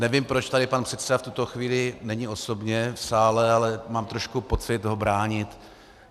Nevím, proč tady pan předseda v tuto chvíli není osobně v sále, ale mám trošku pocit ho bránit.